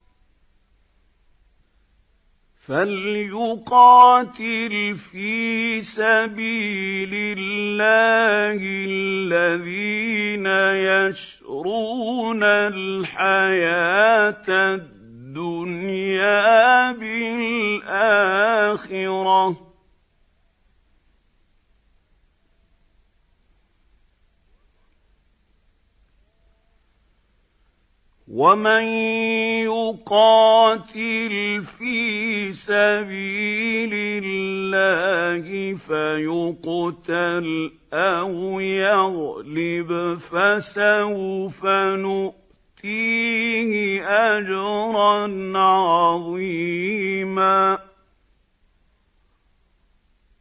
۞ فَلْيُقَاتِلْ فِي سَبِيلِ اللَّهِ الَّذِينَ يَشْرُونَ الْحَيَاةَ الدُّنْيَا بِالْآخِرَةِ ۚ وَمَن يُقَاتِلْ فِي سَبِيلِ اللَّهِ فَيُقْتَلْ أَوْ يَغْلِبْ فَسَوْفَ نُؤْتِيهِ أَجْرًا عَظِيمًا